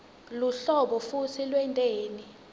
luhlolo futsi lwenteni